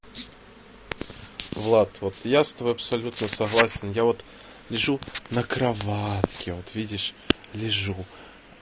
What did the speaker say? влад вот я с тобой абсолютно согласен я вот лежу на кроватке вот видишь лижу